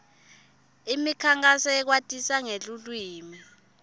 imikhankhaso yekwatisa ngeluwimi